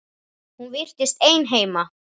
Hún virtist ein heima.